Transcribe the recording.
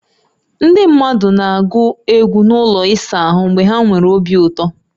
Ndị mmadụ na-agụ egwụ n'ụlọ ịsa ahụ mgbe ha nwere obi ụtọ